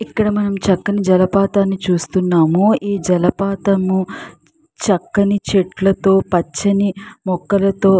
ఇక్కడ మనం చక్కని జలపాతం చూస్తున్నాము ఈ జలపాతము చక్కని చెట్లతో పచ్చని మొక్కలతో --